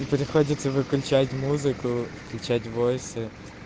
и приходится выключать музыку включать войсы